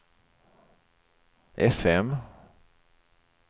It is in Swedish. fm